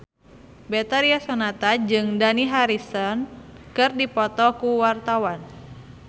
Betharia Sonata jeung Dani Harrison keur dipoto ku wartawan